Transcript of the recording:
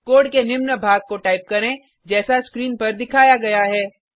code के निम्न भाग को टाइप करें जैसा स्क्रीन पर दिखाया गया है